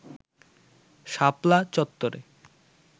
শাপলা চত্বরে